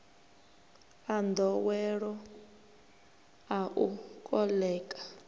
a nḓowelo a u koḽeka